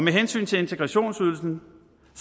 hensyn til integrationsydelsen